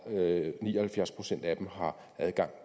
og at ni og halvfjerds procent af dem har adgang